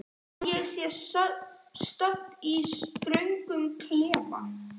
Að ég sé stödd í röngum klefa?